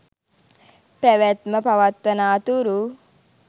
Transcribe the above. පැවැත්ම පවත්වනා තුරු